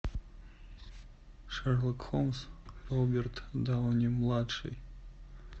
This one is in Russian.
шерлок холмс роберт дауни младший